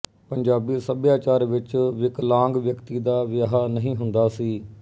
ਪੰਜਾਬੀ ਸੱਭਿਆਚਾਰ ਵਿੱਚ ਵਿਕਲਾਂਗ ਵਿਅਕਤੀ ਦਾ ਵਿਆਹ ਨਹੀਂ ਹੁੰਦਾ ਸੀ